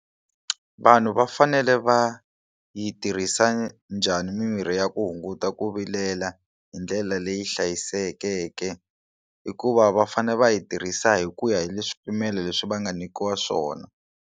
Vanhu va fanele va yi tirhisa njhani mimirhi ya ku hunguta ku vilela hi ndlela leyi hlayisekeke hikuva va fane va yi tirhisa hi ku ya hi le swipimelo leswi va nga nyikiwa swona.